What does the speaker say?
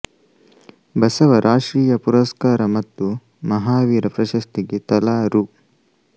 ಬಸವ ರಾಷ್ಟ್ರೀಯ ಪುರಸ್ಕಾರ ಮತ್ತು ಮಹಾವೀರ ಪ್ರಶಸ್ತಿಗೆ ತಲಾ ರೂ